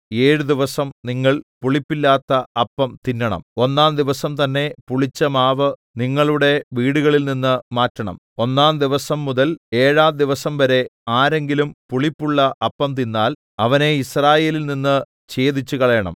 ഏഴു ദിവസം നിങ്ങൾ പുളിപ്പില്ലാത്ത അപ്പം തിന്നണം ഒന്നാം ദിവസം തന്നെ പുളിച്ചമാവ് നിങ്ങളുടെ വീടുകളിൽനിന്ന് മാറ്റണം ഒന്നാം ദിവസംമുതൽ ഏഴാം ദിവസംവരെ ആരെങ്കിലും പുളിപ്പുള്ള അപ്പം തിന്നാൽ അവനെ യിസ്രായേലിൽനിന്ന് ഛേദിച്ചുകളയണം